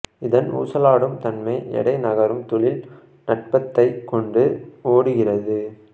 இதன் ஊசலாடும் தன்மை எடை நகரும் தொழில் நட்பத்தைக் கொண்டு ஓடுகிறது